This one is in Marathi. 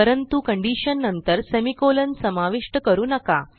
परंतु कंडिशन नंतर सेमिकोलॉन समाविष्ट करू नका